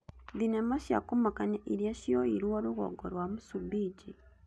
Thenema cia kũmakania iria cioirwo rũgongo rwa Msumbiji